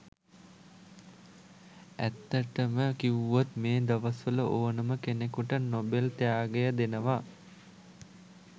ඇත්තටම කිවුවොත් මේ දවස් වල ඕනම කෙනෙකුට නොබෙල් ත්‍යාගය දෙනවා.